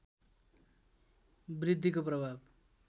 वृद्धिको प्रभाव